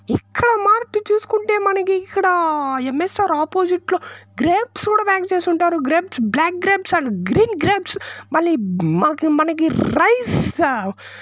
ఇక్కడ మార్కెట్ చూసుకుంటే మనకి ఇక్కడ ఏం_ఎస్_ఆర్ ఆపోజిట్ లో గ్రేప్స్ కూడా ప్యాక్ చేసి ఉంటారు grapes black grapes and green grapes మళ్లీ మాకే మనకే రైస్--